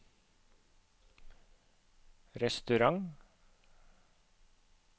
restaurant